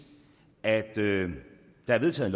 at der er vedtaget